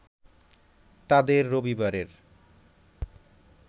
তাদের রবিবারের